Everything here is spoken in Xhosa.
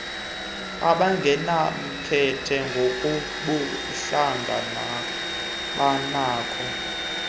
abangenamkhethe ngokobuhlanga nabanako